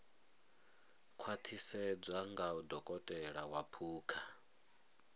khwaṱhisedzwa nga dokotela wa phukha